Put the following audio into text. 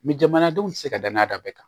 jamanadenw tɛ se ka danaya da bɛɛ kan